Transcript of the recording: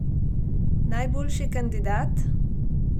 Najboljši kandidat?